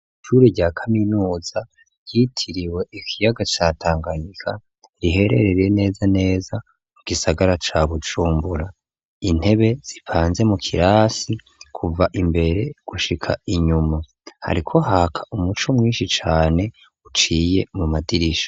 Ishure rya kaminuza ryitiriwe ikiyaga ca Tanganika, rihererereye neza neza mu gisagara ca Bujumbura, intebe zipanze mu kirasi kuva imbere gushika inyuma, ariko haka umuco mwinshi cane uciye mu madirisha.